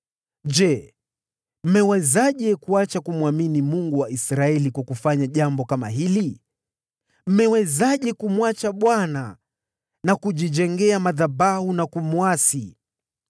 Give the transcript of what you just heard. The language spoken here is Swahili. “Kusanyiko lote la Bwana lasema: ‘Je, mmewezaje kuacha kumwamini Mungu wa Israeli jinsi hii? Mmewezaje kumwacha Bwana na kujijengea madhabahu dhidi yake na kumwasi?